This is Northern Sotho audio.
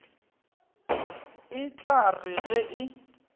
e tla re ge e